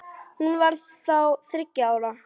Hún var þá þriggja ára.